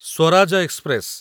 Swaraj express